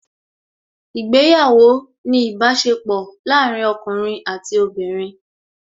Ìgbéyàwó ni ìbáṣepọ̀ láàárín ọkùnrin àti obìnrin